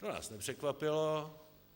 To nás nepřekvapilo.